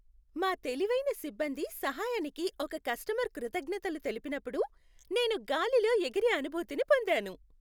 మా తెలివైన సిబ్బంది సహాయానికి ఒక కస్టమర్ కృతజ్ఞతలు తెలిపినప్పుడు నేను గాలిలో ఎగిరే అనుభూతిని పొందాను.